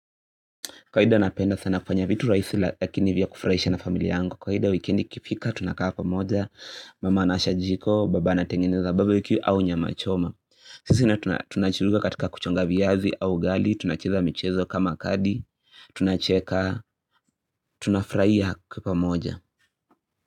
Kawaida napenda sana kufanya vitu rahisi lakini vya kufuraisha na familia yangu ka ida wikendi ikifika tunakaa pamoja mama anawasha jiko baba na tengeneza barbecue au nyama choma sisi na tunachuruga katika kuchonga viazi au ugali tunacheza michezo kama kadi tunacheka tunafurahia kwa pamoja.